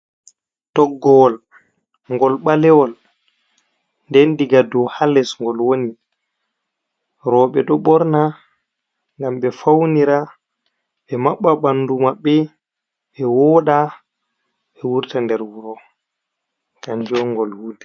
Toggowol ngol ɓale wol nden daga dou ha les ngol woni roɓe ɗo ɓorna ngam ɓe faunira, ɓe maɓɓa ɓandu maɓɓe, wooɗa, ɓe wurta nder wuro kanjum on ngol wutir.